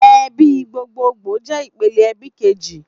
Èbí gbógbógbó jè ipélé èbí kéjí